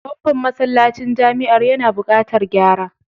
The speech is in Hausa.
Famfon masallacin jami'ar yana buƙatar gyara.